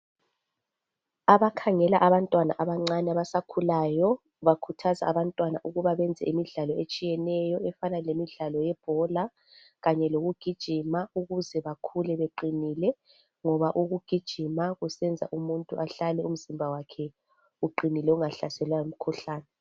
Abakhangela abantwana abancane abasakhulayo bakhuthaza abantwana ukuba benze imidlalo etshiyeneyo efana lemidlalo yebhola kanye lokugijima ukuze bakhule beqinile ngoba ukugijima kusenza umuntu ahlale umzimba wakhe uqinile ungahlaselwa yimikhuhlane.